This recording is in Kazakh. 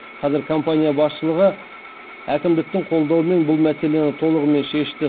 қазір компания басшылығы әкімдіктің қолдауымен бұл мәселені толығымен шешті